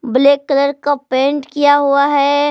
Black colour का paint किया हुआ है।